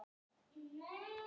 Þeir urðu!